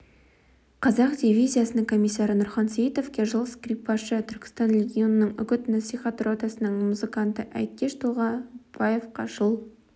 қазақ дивизиясының комиссары нұрхан сейітовке жыл скрипкашы түркістан легионының үгіт-насихат ротасының музыканты әйткеш толғанбаевқа жыл